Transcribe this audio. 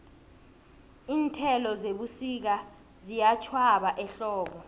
iinthelo zebusika ziyatjhwaba ehlobo